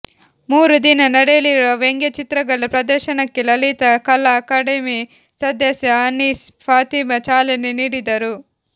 ಮೂರು ದಿನ ನಡೆಯಲಿರುವ ವ್ಯಂಗ್ಯಚಿತ್ರಗಳ ಪ್ರದರ್ಶನಕ್ಕೆ ಲಲಿತಾ ಕಲಾ ಅಕಾಡೆಮಿ ಸದಸ್ಯ ಅನೀಸ್ ಫಾತಿಮಾ ಚಾಲನೆ ನೀಡಿದರು